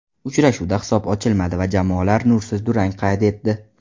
Uchrashuvda hisob ochilmadi va jamoalar nursiz durang qayd etdi .